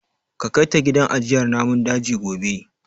Ka kai ta gidan ajiyar namun daji gobe.